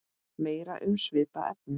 Meira um svipað efni